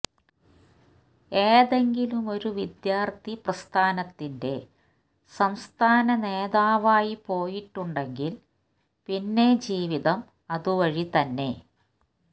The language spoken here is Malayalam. ഏതെങ്കിലുമൊരു വിദ്യാർത്ഥി പ്രസ്ഥാനത്തിന്റെ സംസ്ഥാന നേതാവായി പോയിട്ടുണ്ടെങ്കിൽ പിന്നെ ജീവിതം അതുവഴി തന്നെ